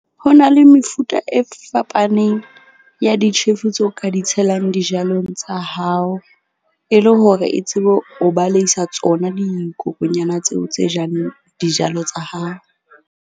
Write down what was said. Ho na le mefuta e fapaneng ya ditjhefu tse o ka di tshelang dijalong tsa hao, e le hore e tsebe ho balehisa tsona dikokonyana tseo tse jang dijalo tsa hao.